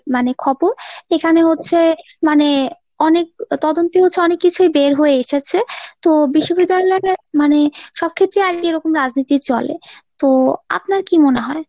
মানে খবর। এখানে হচ্ছে মানে অনেক তদন্তি হয়েছে অনেক কিছুই বের হয়ে এসেছে । তো বিশ্ববিদ্যালয়ে মানে সব ক্ষেত্রেই আর কি এরকম রাজনীতি চলে। তো আপনার কী মনে হয় ?